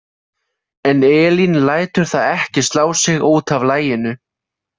En Elín lætur það ekki slá sig út af laginu.